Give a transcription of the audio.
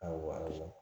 A wale